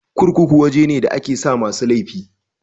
Kurkuku waje ne da a ke sa masu laifi